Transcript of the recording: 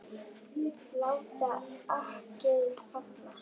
Lát akkeri falla.